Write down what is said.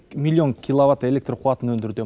миллион киловатт электр қуатын өндіруде